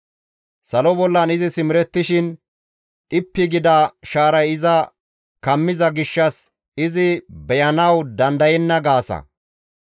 Salo bollan izi simerettishin dhippi gida shaaray iza kammiza gishshas izi beyanawu dandayenna› gaasa.